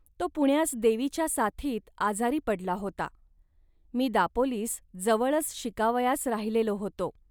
तो पुण्यास देवीच्या साथीत आजारी पडला होता. मी दापोलीस जवळच शिकावयास राहिलेला होतो